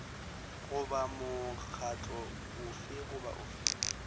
goba mokgatlo ofe goba ofe